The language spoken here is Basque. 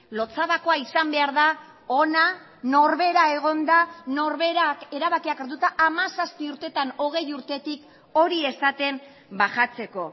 lotsabakoa izan behar da hona norbera egonda norberak erabakiak hartuta hamazazpi urteetan hogei urtetik hori esaten bajatzeko